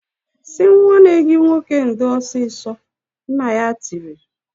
"Sị nwanne gị nwoke ndo ọsịsọ!" Nna ya tiri.